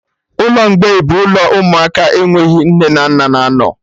Ụlọ mgbei bụ ụlọ ụmụaka enweghị nne na nna na anọ